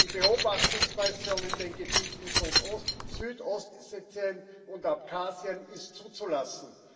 Die Beobachtungsmission in den Gebieten Südossetien und Abchasien ist zuzulassen.